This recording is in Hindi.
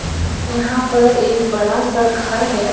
यहां पर एक बड़ा सा घर है।